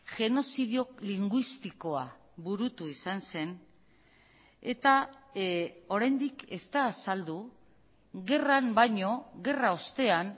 genozidio linguistikoa burutu izan zen eta oraindik ez da azaldu gerran baino gerra ostean